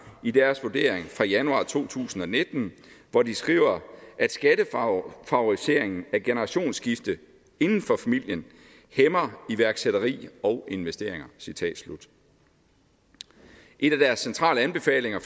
i deres vurdering fra januar to tusind og nitten hvor de skriver at skattefavoriseringen af generationsskifte inden for familien hæmmer iværksætteriet og investeringer citat slut en af deres centrale anbefalinger